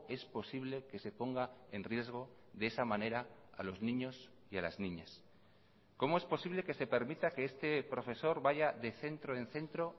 es posible que se ponga en riesgo de esa manera a los niños y a las niñas cómo es posible que se permita que este profesor vaya de centro en centro